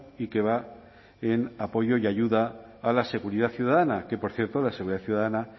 y que va en apoyo y ayuda a la seguridad ciudadana que por cierto la seguridad ciudadana